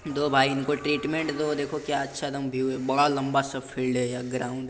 दो भाई इनको ट्रीट्मन्ट दो। देखो क्या अच्छा दम भीयू हैं। बड़ा लंबा सा फील्ड है। यह ग्राउन्ड --